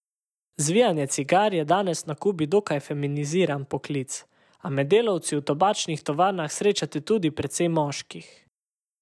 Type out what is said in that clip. Zvijanje cigar je danes na Kubi dokaj feminiziran poklic, a med delavci v tobačnih tovarnah srečate tudi precej moških.